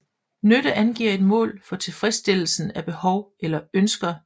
Nytte angiver et mål for tilfredsstillelsen af behov eller ønsker